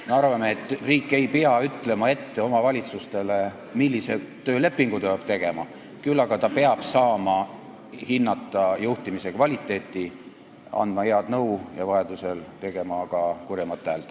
Me arvame, et riik ei pea ütlema omavalitsusele ette, millise töölepingu see peab tegema, küll aga peab riik saama hinnata juhtimise kvaliteeti, ta peab saama anda head nõu ja vajadusel peab tegema ka kurjemat häält.